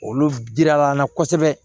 Olu dira an na kosɛbɛ